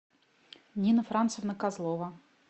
нина францевна козлова